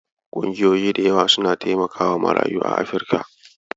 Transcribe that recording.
Ƙungiyoyi da yawa suna taimakawa marayu a Afrika.